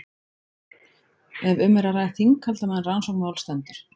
ef um er að ræða þinghald á meðan rannsókn máls stendur